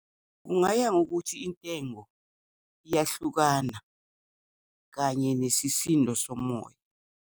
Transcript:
Kungaya ngokuthi intengo iyahlukana kanye nesisindo somoya.